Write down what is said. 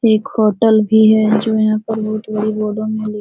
एक होटल भी है जो यहाँ पर बहुत बड़ी बोर्डो में लिखी --